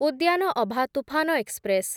ଉଦ୍ୟାନ ଅଭା ତୁଫାନ ଏକ୍ସପ୍ରେସ୍‌